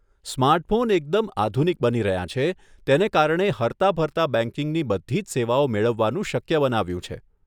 Smartphone એકદમ આધુનિક બની રહ્યાં છે, તેને કારણે હરતાફરતા બેંકિંગની બધી જ સેવાઓ મેળવવાનું શક્ય બનાવ્યું છે.